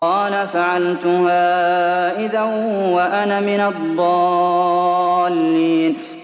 قَالَ فَعَلْتُهَا إِذًا وَأَنَا مِنَ الضَّالِّينَ